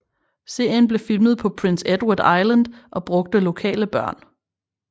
Serien blev filmet på Prince Edward island og brugte lokale børn